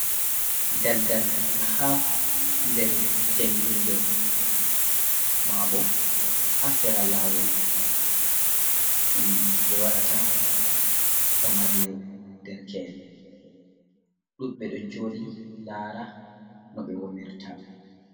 Ɗalɗal ha ɗer jangirɗe. Ma bo ha sera lawol ɗum be waɗata gamarle ɗerke’en. Ɗubbe ɗo joɗi lara no be womirta.